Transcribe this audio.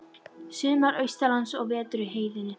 Sumar austanlands og vetur í heiðinni.